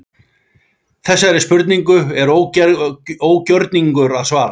Þessari spurningu er ógjörningur að svara.